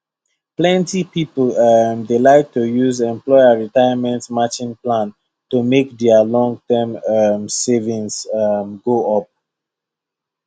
plenty people um dey like to use employer retirement matching plan to make their long term um savings um go up